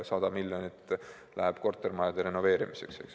100 miljonit läheb kortermajade renoveerimiseks.